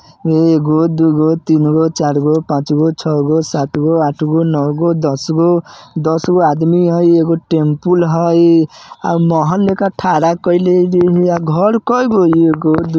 एगो दुगो तीनगो चारगो पाँचगो छगो सातगो आठगो नोगो दसगो दसगो आदमी हइ। एगो टेम्लपुल हइ आ मोहले का घर कोई गो हइ एगो दुगो--